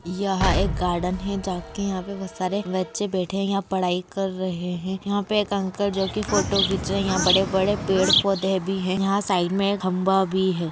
यहा एक गार्डन है जहा कि पे बहुत सारे बच्चे बैठे है यहा पढ़ाई कर रहे है यहा पे एक अंकल जो की फोटो खींच रहा है यहा बड़े बड़े पेड़ पौधे भी है यहा साइड में एक खंबा भी है।